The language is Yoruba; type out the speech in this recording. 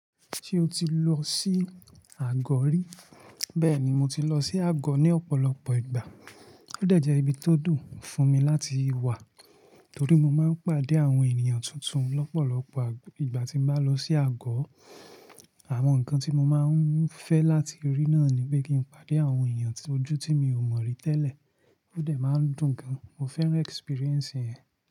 Ṣé o ti lọ sí àgọ̀ rí? Bẹ́ẹ̀ni, mo ti lọ sí àgọ̀ ní ọ̀pọ̀lọpọ̀ ìgbà. Ó dẹ̀ jẹ́ ibi tó dùn fún mi láti wà torí mo máa ń pàdé àwọn ènìyàn tuntun lọ́pọ̀lọpọ̀ ìgbà tí mo bá lọ sí àgọ̀. Àwọn ǹkan tí mo máa ń fẹ́ láti rí náà ni pé kí n pàdé àwọn ènìyàn ojú tí mi ò mọ̀ rí tẹ́lẹ̀, ó dẹ̀ máa ń dùn gan. Mo fẹ́ràn experience yen.